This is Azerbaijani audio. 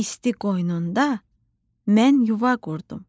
İsti qoynunda mən yuva qurdum.